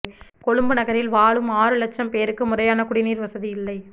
கொழும்பு நகரில் வாழும் ஆறு லட்சம் பேருக்கு முறையான குடிநீர் வசதி இல்லை